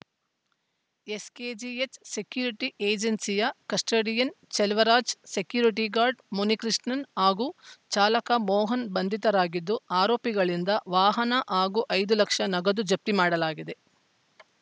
SKGH security ಏಜೆನ್ಸಿಯ custodian Cheluvaraj security guard Munikrishnan ಹಾಗೂ ಚಾಲಕ ಮೋಹನ್‌ ಬಂಧಿತರಾಗಿದ್ದು ಆರೋಪಿಗಳಿಂದ ವಾಹನ ಹಾಗೂ ಐದು ಲಕ್ಷ ನಗದು ಜಪ್ತಿ ಮಾಡಲಾಗಿದೆ